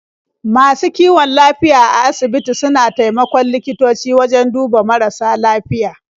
Masu kiwon lafiya a asibiti suna taimakon likitoci wajen duba marasa lafiya.